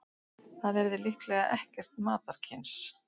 Það yrði líklega ekkert matarkyns.